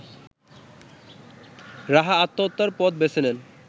রাহা আত্মহত্যার পথ বেছে নেন